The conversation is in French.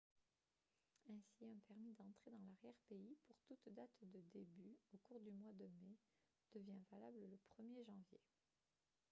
ainsi un permis d'entrée dans l'arrière-pays pour toute date de début au cours du mois de mai devient valable le 1er janvier